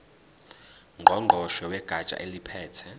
ngqongqoshe wegatsha eliphethe